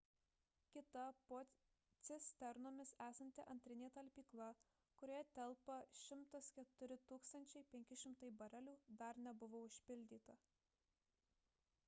kita po cisternomis esanti antrinė talpykla kurioje telpa 104 500 barelių dar nebuvo užpildyta